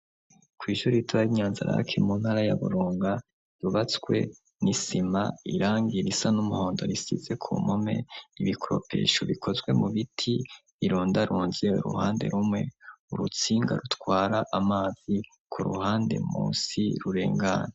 Kwishuri ritoya ry,inyanzirake mu ntara ya Burunga, yubatswe n'isima irangi risa n'umuhondo risize ku mpome, ibikropesho bikozwe mu biti ironda runze ,uruhande rumwe urutsinga rutwara amazi ,ku ruhande munsi rurengana.